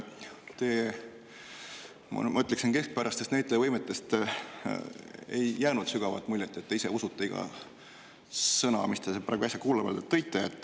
Teie, ma ütleksin, keskpäraste näitajavõimete tõttu ei jäänud muljet, et te ise usuksite iga sõna, mis te äsja kuuldavale tõite.